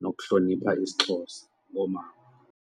nokuhlonipha isiXhosa koomama.